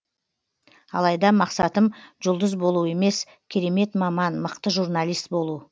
алайда мақсатым жұлдыз болу емес керемет маман мықты журналист болу